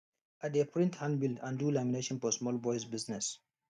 i dey print handbill and do lamination for small boys business